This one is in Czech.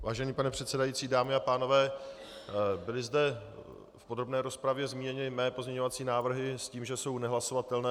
Vážený pane předsedající, dámy a pánové, byly zde v podrobné rozpravě zmíněny mé pozměňovací návrhy s tím, že jsou nehlasovatelné.